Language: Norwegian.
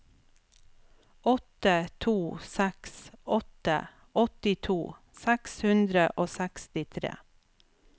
åtte to seks åtte åttito seks hundre og sekstitre